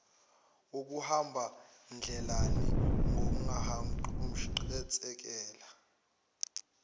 kokuhamba ndlelanye kungaqhutshekelwa